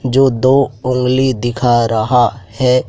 जो दो उंगली दिखा रहा है।